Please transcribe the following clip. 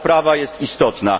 Sprawa jest istotna.